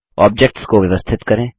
objects को व्यवस्थित करें